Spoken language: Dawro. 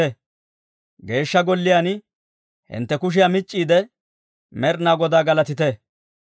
Geeshsha Golliyaan hintte kushiyaa mic'c'iide, Med'inaa Godaa galatite.